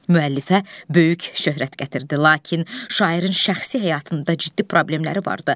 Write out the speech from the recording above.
Müəllifə böyük şöhrət gətirdi, lakin şairin şəxsi həyatında ciddi problemləri vardı.